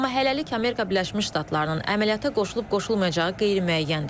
Amma hələlik Amerika Birləşmiş Ştatlarının əməliyyata qoşulub-qoşulmayacağı qeyri-müəyyəndir.